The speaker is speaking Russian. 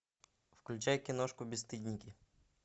включай киношку бесстыдники